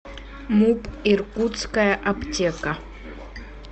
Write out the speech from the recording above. муп иркутская аптека